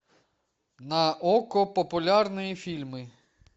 на окко популярные фильмы